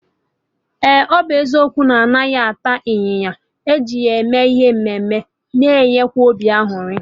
Eh! Ọ bụ eziokwu na-anaghị ata ịnyịnya, eji ya eme ihe mme mme na-enye obi añụrị